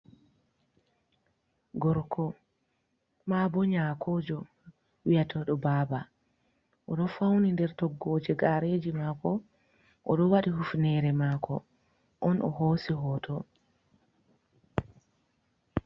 Gorko, ma bo nyakojo wiyatodo baba, o ɗo fauni nder toggoje gareji mako, o do wadi hufnere mako; on o hosi hoto.